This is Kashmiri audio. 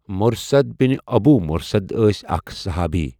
مرثد بن ابو مرثد ٲسؠ اَکھ صُحابی.